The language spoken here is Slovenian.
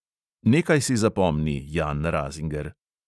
Nekaj si zapomni, jan razinger.